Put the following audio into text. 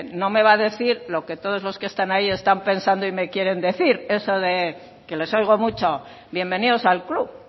no me va a decir lo que todos los que están ahí están pensando y me quieren decir eso de que les oigo mucho bienvenidos al club